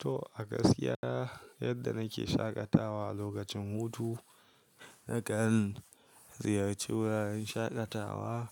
To a gaskiya yadda na ke shaƙatawa lokacin hutu, na kan ziyarci wuraren shaƙatawa